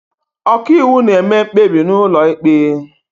ọkàiwu na-eme mkpebi n'ụlọ ikpe